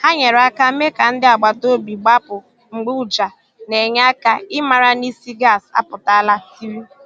Hà nyere aka mee ka ndị agbata obi gbapụ̀ mgbe ụjà na enye aka i mara na ísì gas apụtala tiri.